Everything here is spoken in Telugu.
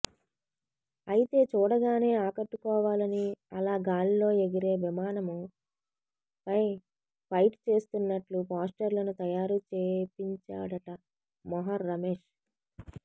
అయితే చూడగానే ఆకట్టుకోవాలని అలా గాల్లో ఎగిరే విమానం పై ఫైట్ చేస్తున్నట్లు పోస్టర్లను తయారు చేపించాడట మొహర్ రమేష్